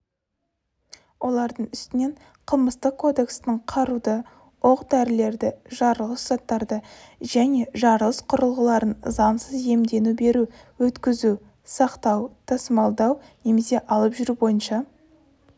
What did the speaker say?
олардың үстінен қылмыстық кодекстің қаруды оқ-дәрілерді жарылғыш заттарды және жарылыс құрылғыларын заңсыз иемдену беру өткізу сақтау тасымалдау немесе алып жүру бойынша